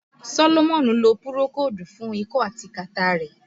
Sólómọ́nì ló pùròkódù fún ikọ́ àti kàtá rẹ̀